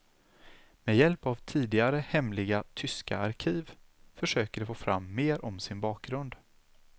Med hjälp av tidigare hemliga tyska arkiv försöker de få fram mer om sin bakgrund.